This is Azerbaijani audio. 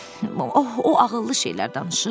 Oh, o ağıllı şeylər danışır.